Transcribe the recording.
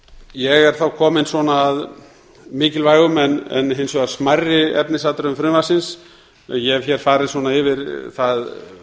ég er þá kominn að mikilvægum en hins vegar smærri efnisatriðum frumvarpsins ég hef hér farið yfir það